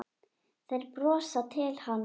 Þeir brosa til hans.